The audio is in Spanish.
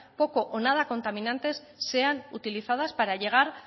poco o nada contaminantes sean utilizadas para llegar